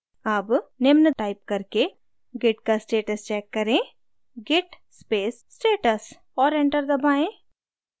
अब निम्न टाइप करके git का status check करें git space status और और enter दबाएँ